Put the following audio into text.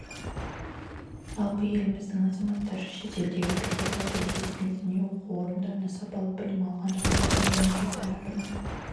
жалпы еліміздің азаматтары шетелдегі беделді әрі ресми діни оқу орындарында сапалы білім алған жағдайда мемлекет тарапынан